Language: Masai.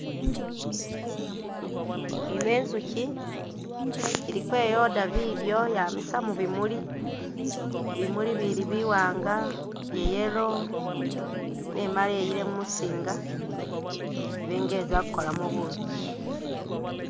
Ino inzukyi iliko iyoda bidyo yamisa mubimuli bimuli bili biwanga bya'yellow nemale iyile mumusinga ibenga izakukolamo bukyi